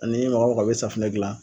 Ani mɔgɔ o mɔgɔ bi safunɛ gilan